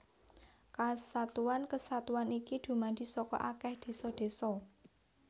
Kesatuan kesatuan iki dumadi saka akèh désa désa